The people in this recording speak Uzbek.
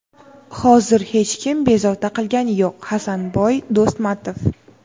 Hozir hech kim bezovta qilgani yo‘q – Hasanboy Do‘smatov.